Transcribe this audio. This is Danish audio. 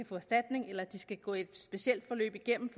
få erstatning eller de skal gå et specielt forløb igennem